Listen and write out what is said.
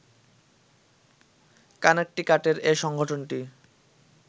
কানেকটিকাটের এ সংগঠনটি